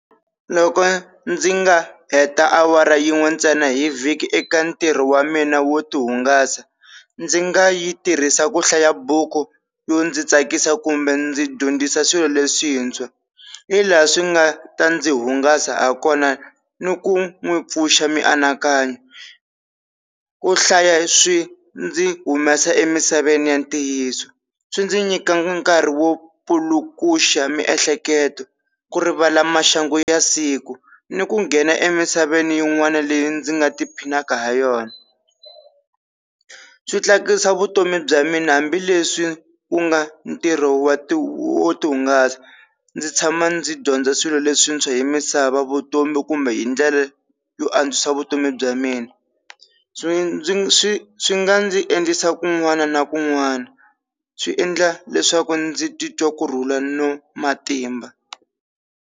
Loko ndzi nga heta awara yin'we ntsena hi vhiki eka ntirho wa mina wo tihungasa ndzi nga yi tirhisa ku hlaya buku yo ndzi tsakisa kumbe ndzi dyondzisa swilo leswintshwa, hi laha swi nga ta ndzi hungasa ha kona ni ku n'wi pfuxa mianakanyo. Ku hlaya swi ndzi humesa emisaveni ya ntiyiso, swi ndzi nyika nkarhi wo pfulukaxa miehleketo, ku rivala maxangu ya siku ni ku nghena emisaveni yin'wana leyi ndzi nga tiphinaka ha yona. Swi tlakusa vutomi bya mina hambileswi wu nga ntirho wa wo tihungasa. Ndzi tshama ndzi dyondza swilo leswintshwa hi misava, vutomi kumbe hi ndlela yo antswisa vutomi bya mina. Swi ndzi swi nga ndzi endlisa kun'wana na kun'wana swi endla leswaku ndzi titwa kurhula ni matimba.